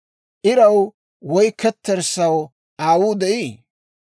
«Iraw woy ketterssaw aawuu de'ii?